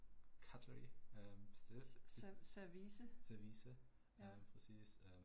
Service, ja